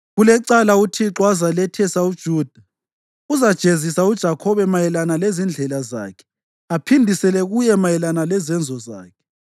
Kulecala uThixo azalethesa uJuda; uzajezisa uJakhobe mayelana lezindlela zakhe aphindisele kuye mayelana lezenzo zakhe.